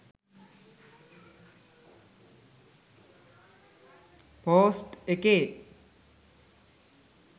post එකේ